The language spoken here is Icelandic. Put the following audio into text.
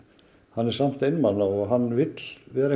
hann er samt einmana og hann vill vera